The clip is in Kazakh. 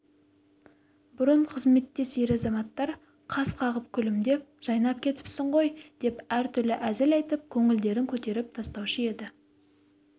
бұрын қызметтес ер-азаматтар қас қағып күлімдеп жайнап кетіпсің ғой деп әртүрлі әзіл айтып көңілдерін көтеріп тастаушы еді